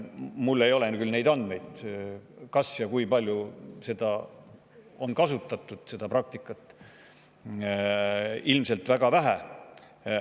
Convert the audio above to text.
Mul ei ole küll andmeid selle kohta, kas ja kui palju seda praktikat on kasutatud, aga ilmselt väga vähe.